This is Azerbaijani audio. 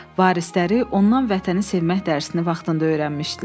Varisləri ondan Vətəni sevmək dərsini vaxtında öyrənmişdilər.